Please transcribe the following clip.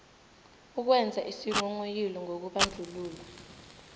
ukwenza isinghonghoyilo ngokubandlululwa